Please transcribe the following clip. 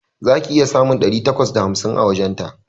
Za ki iya samun ɗari takwas da hamsin a wajenta